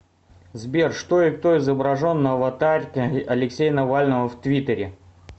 сбер что и кто изображен на аватарке алексея навального в твиттере